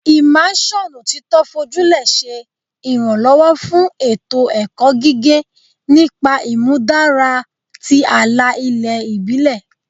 Immersion otito foju le ṣe iranlọwọ fun eto-ẹkọ gige nipa imudara ti ala-ilẹ ibile